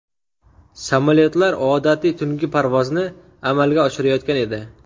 Samolyotlar odatiy tungi parvozni amalga oshirayotgan edi.